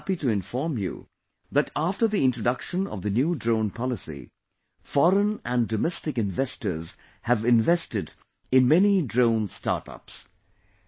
I am happy to inform you that after the introduction of the new drone policy, foreign and domestic investors have invested in many drone startups